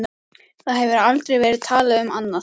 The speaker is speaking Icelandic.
Það hefur aldrei verið talað um annað!